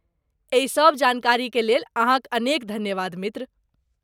एहिसभ जानकारीलेल अहाँक अनेक धन्यवाद, मित्र।